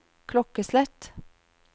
klokkeslett